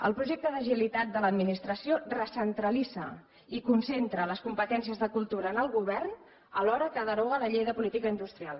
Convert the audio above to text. el projecte d’agilitat de l’administració recentralitza i concentra les competències de cultura en el govern alhora que deroga la llei de política industrial